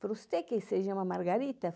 For uested quien seja una Margarita?